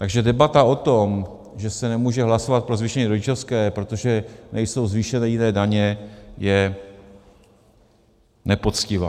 Takže debata o tom, že se nemůže hlasovat o zvýšení rodičovské, protože nejsou zvýšeny jiné daně, je nepoctivá.